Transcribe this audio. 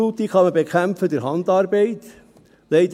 Verunkrautung kann man durch Handarbeit bekämpfen.